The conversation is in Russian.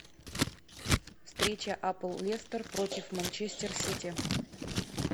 встреча апл лестер против манчестер сити